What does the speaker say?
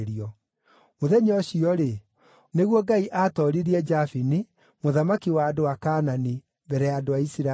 Mũthenya ũcio-rĩ, nĩguo Ngai aatooririe Jabini, mũthamaki wa andũ a Kaanani, mbere ya andũ a Isiraeli.